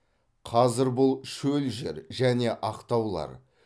қазір бұл шөл жер және ақ таулар